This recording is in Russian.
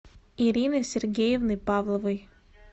ирины сергеевны павловой